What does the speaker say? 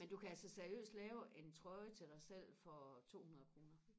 men du kan altså seriøst lave en trøje til dig selv for tohundrede kroner